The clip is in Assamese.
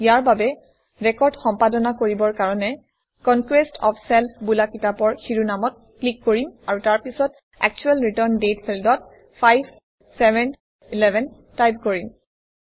ইয়াৰ বাবে ৰেকৰ্ড সম্পাদনা কৰিবৰ কাৰণে কনকোয়েষ্ট অফ ছেল্ফ বোলা কিতাপৰ শিৰোনামত ক্লিক কৰিম আৰু তাৰ পিছত একচুৱেল ৰিটাৰ্ণ দাঁতে ফিল্ডত 5711 টাইপ কৰিম